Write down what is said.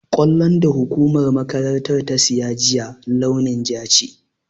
Ƙwallon da hukumar makarantar ta siya juya, launin ja ce.